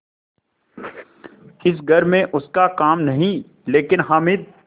इस घर में उसका काम नहीं लेकिन हामिद